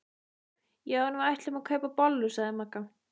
Já en við ætlum að kaupa bollur sagði Magga.